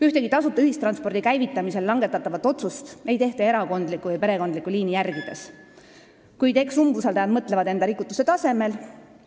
Ühtegi tasuta ühistranspordi käivitamisel langetatavat otsust ei tehta erakondlikku või perekondlikku liini järgides, kuid eks umbusaldajad mõtlevad enda rikutuse tasemel.